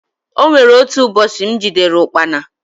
O nwere otu ụbọchị m jidere ụkpana.